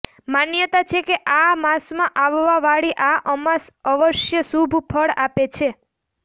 માન્યતા છે કે આ માસમાં આવવાવાળી આ અમાસ અવશ્ય શુભ ફળ આપે છે